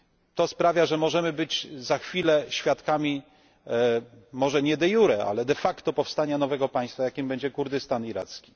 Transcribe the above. To sprawia, że możemy być za chwilę świadkami, może nie de iure, ale de facto, powstania nowego państwa, jakim będzie Kurdystan iracki.